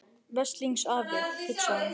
Veslings afi, hugsaði hún.